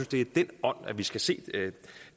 det er i den ånd at vi skal se